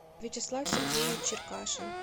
вячеслав сергеевич черкашин